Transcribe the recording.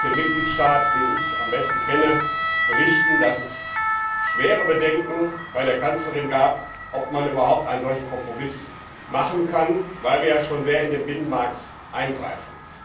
Ich kann aus dem Mitgliedstaat, den ich am besten kenne, berichten, dass es schwere Bedenken bei der Kanzlerin gab, ob man überhaupt einen solchen Kompromiss machen kann, weil wir ja schon sehr in den Binnenmarkt eingreifen.